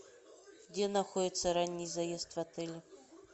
где находится ранний заезд в отеле